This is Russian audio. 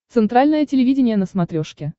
центральное телевидение на смотрешке